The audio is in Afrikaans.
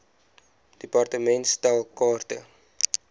department stel kaarte